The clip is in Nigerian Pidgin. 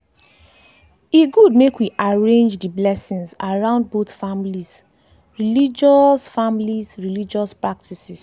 e good make we arrange dey blessings around both families 'religious families 'religious practices.